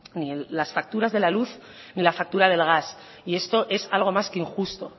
ni las facturas de la luz ni la factura del gas y esto es algo más que injusto